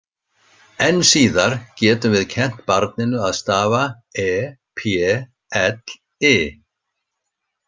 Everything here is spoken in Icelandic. Enn síðar getum við kennt barninu að stafa e-p-l-i.